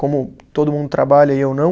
Como todo mundo trabalha e eu não.